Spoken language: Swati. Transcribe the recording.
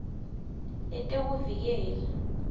letekuvikela